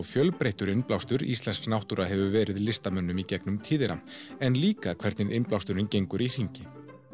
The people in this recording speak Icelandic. fjölbreyttur innblástur íslensk náttúra hefur verið listamönnum gegnum tíðina en líka hvernig innblásturinn gengur í hringi